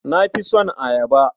Na fi son ayaba.